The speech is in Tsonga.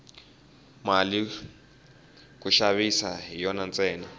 mali ku xaviwa hi yona ntsena